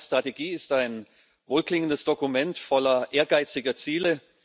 Die globale Strategie ist ein wohlklingendes Dokument voller ehrgeiziger Ziele.